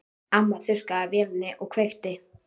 Amma þurrkaði af vélinni og kveikti.